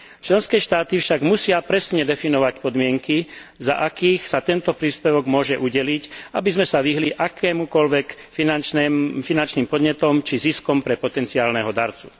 Členské štáty však musia presne definovať podmienky, za akých sa tento príspevok môže udeliť, aby sme sa vyhli akýmkoľvek finančným podnetom či ziskom pre potencionálneho darcu.